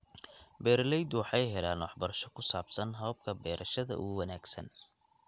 Beeraleydu waxay helaan waxbarasho ku saabsan hababka beerashada ugu wanaagsan.